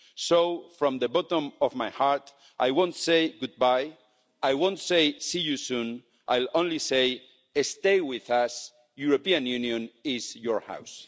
So from the bottom of my heart, I won't say goodbye, I won't say see you soon, I'll only say stay with us, the European Union is your home.